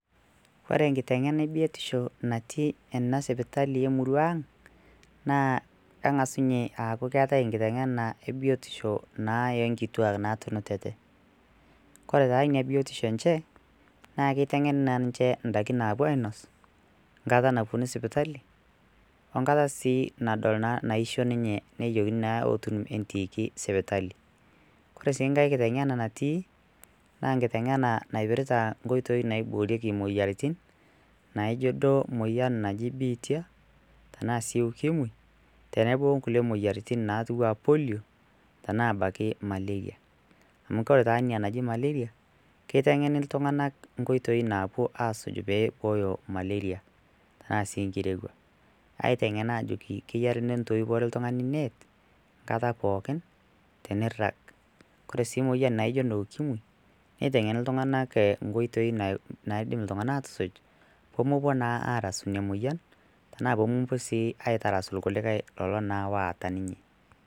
Ore enkitengena ebiotisho natii ena sipitali emurruaang naa kengasu ninye aaku keata kitengena ebiotisho naa enkituak naatunutete, kore taa ina biotisho enchee naa keitengeni naa ninche indaki naapo ainos enkata naponu sipitali onkata nadol naishoo ninye nejokini naa eetu entiiki sipitali, kore sii enkae kitengena natii naa enkitengena naipirta nkoitoii naiboorieki moyiaritin naijo duo ibiitia tanaa sii ukimwi tenebo oonkule moyiarritin natua polio tanaa abaki malaria [cs[ amu kore taa ina naji malaria keitengeni ltunganak nkoitoii naapo aasuj peeibooyo malaria tana sii inkirewua aitengen aajoki kenare nintoiwore ltungani neet nkata pookin teneirag, kore sii moyian naaijo ne ukimwi neitengeni ltunganak nkoitoi naidim ltunganak aatusuj pemopo naa aarasu ina moyian tanaa pemopo sii aitarashu lkulikae kulo naa oota ninye.